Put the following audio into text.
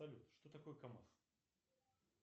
салют что такое камаз